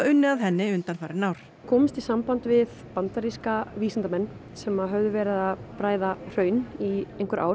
unnið að henni undanfarin ár komumst í samband við bandaríska vísindamenn sem hafa verið að bræða hraun í einhver ár